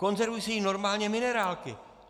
Konzervují se jí normálně minerálky.